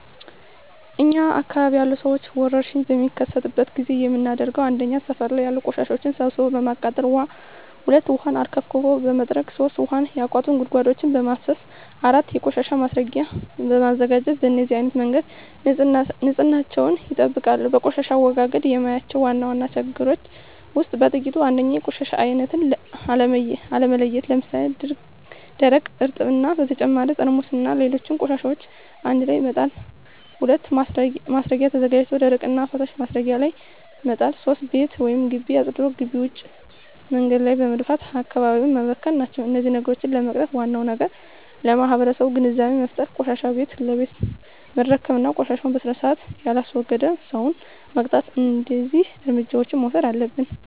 እኛ አካባቢ ያሉ ሠዎች ወርሽኝ በሚከሰትበት ጊዜ የምናደርገው 1. ሠፈር ላይ ያሉ ቆሻሻዎችን ሠብስቦ በማቃጠል 2. ውሀ አርከፍክፎ በመጥረግ 3. ውሀ ያቋቱ ጉድጓዶችን በማፋሠስ 4. የቆሻሻ ማስረጊያ በማዘጋጀት በነዚህ አይነት መንገድ ንፅህናቸውን ይጠብቃሉ። በቆሻሻ አወጋገድ የማያቸው ዋና ዋና ችግሮች ውስጥ በጥቂቱ 1. የቆሻሻ አይነት አለመለየት ለምሣሌ፦ ደረቅ፣ እርጥብ እና በተጨማሪ ጠርሙስና ሌሎች ቆሻሻዎችን አንድላይ መጣል። 2. ማስረጊያ ተዘጋጅቶ ደረቅና ፈሣሽ ማስረጊያው ላይ መጣል። 3. ቤት ወይም ግቢ አፅድቶ ግቢ ውጭ መንገድ ላይ በመድፋት አካባቢውን መበከል ናቸው። እነዚህን ችግሮች ለመቅረፍ ዋናው ነገር ለማህበረሠቡ ግንዛቤ መፍጠር፤ ቆሻሻን ቤት ለቤት መረከብ እና ቆሻሻን በስርአት የላስወገደን ሠው መቅጣት። እደዚህ እርምጃዎች መውሠድ አለብን።